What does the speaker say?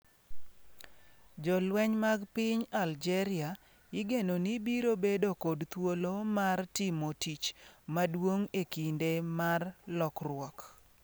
Jolweny mag piny Algeria igeno ni biro bedo kod thuolo mar timo tich maduong' e kinde mar lokruok.